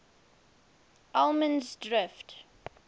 allemansdrift